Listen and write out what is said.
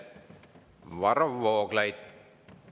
Varro Vooglaid.